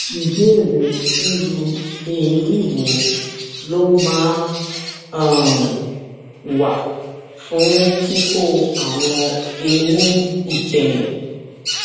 ìbéèrè irú èrí wo ló máa um ń wà fún kíkó àwọn eyín ìkẹyìn